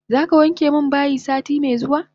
Zaka wanke min bayi sati me zuwa?